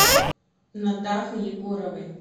натахой егоровой